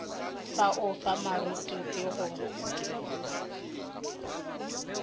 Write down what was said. ba o fa morutipi go